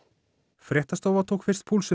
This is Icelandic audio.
fréttastofa tók fyrst púlsinn